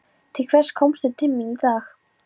Til hvers komstu til mín í dag?